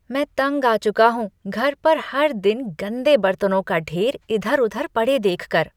मैं तंग आ चुका हूँ घर पर हर दिन गंदे बर्तनों के ढेर इधर उधर पड़े देख कर।